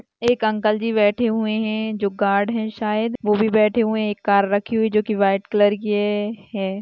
एक अंकल जी बैठे हुए है जो गार्ड है शायद वो भी बैठे हुए एक कार रखी हुई जो की व्हाइट कलर की हे है।